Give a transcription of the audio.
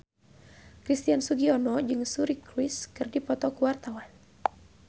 Christian Sugiono jeung Suri Cruise keur dipoto ku wartawan